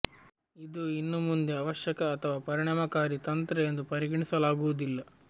ಇದು ಇನ್ನು ಮುಂದೆ ಅವಶ್ಯಕ ಅಥವಾ ಪರಿಣಾಮಕಾರಿ ತಂತ್ರ ಎಂದು ಪರಿಗಣಿಸಲಾಗುವುದಿಲ್ಲ